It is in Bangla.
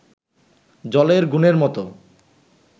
জলের গুণের মতো